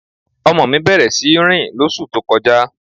Ọmọ mi bẹ̀rẹ̀ sí rìn lọ́sú tó kọ́ja.